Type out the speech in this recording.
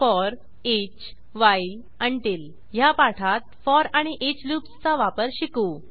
four each 000049 000048 while until ह्या पाठात for आणि ईच लूप्सचा वापर शिकू